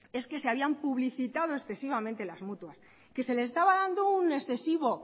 es que se habían publicitado excesivamente las mutuas que se le estaba dando un excesivo